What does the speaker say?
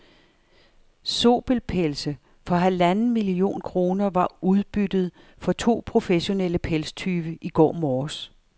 Zobelpelse for halvanden million kroner var udbyttet for to professionelle pelstyve i går morges.